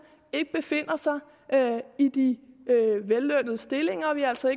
ikke befinder sig i de vellønnede stillinger og at vi altså